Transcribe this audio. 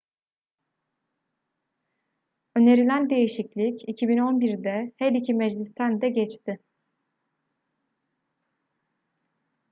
önerilen değişiklik 2011'de her iki meclisten de geçti